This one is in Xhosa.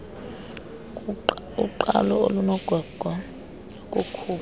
uqalo olunogwegwe lokukhupha